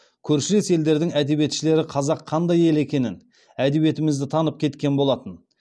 көршілес елдердің әдиебетшілері қазақ қандай ел екенін әдебиетімізді танып кеткен болатын